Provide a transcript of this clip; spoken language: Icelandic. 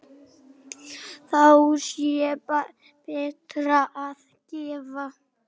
Þá sé betra að gefa.